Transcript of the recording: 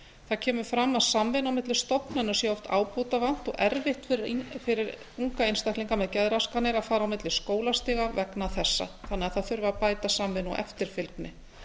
það kemur fram að samvinnu á milli stofnana sé oft ábótavant og erfitt fyrir unga einstaklinga með geðraskanir að fara á milli skólastiga vegna þessa þannig að það þurfi að bæta samvinnu og eftirfylgni